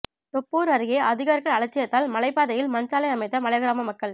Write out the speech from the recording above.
தொப்பூர் அருகே அதிகாரிகள் அலட்சியத்தால் மலைப்பாதையில் மண்சாலை அமைத்த மலைகிராம மக்கள்